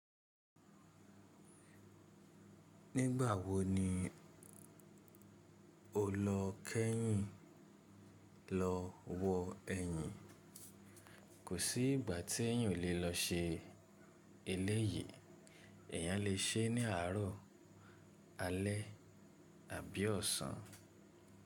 Nígbà wo ni o lọ kẹ́yìn lọ wọ ẹyin? Kò sí ìgbà tí ẹ̀yàn lè lọ ṣe eléyìí, ẹ̀yàn lè ṣe é ní àárọ̀, alẹ́ àbí ọ̀sán.